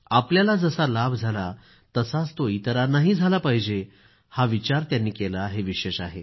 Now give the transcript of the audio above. आपल्याला जसा लाभ झाला तसाच तो इतरांनाही झाला पाहिजे असा विचार त्यांनी केला हे विशेष आहे